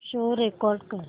show record कर